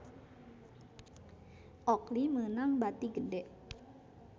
Oakley meunang bati gede